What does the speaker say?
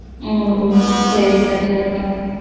உம் சரிக்கா, சரிக்கா